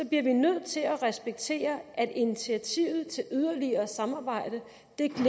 bliver vi nødt til at respektere at initiativet til yderligere samarbejde